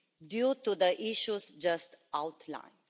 due to the issues just outlined.